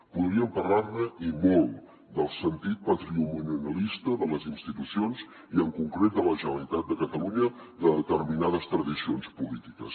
podríem parlar ne i molt del sentit patrimonialista de les institucions i en concret de la generalitat de catalunya de determinades tradicions polítiques